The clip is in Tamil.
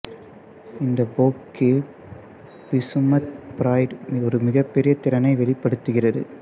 இந்த போக்கில் பிசுமத் பெர்ரைட் ஒரு மிகப்பெரிய திறனை வெளிப்படுத்துகிறது